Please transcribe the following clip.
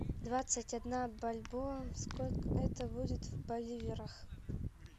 двадцать одна бальбоа сколько это будет в боливарах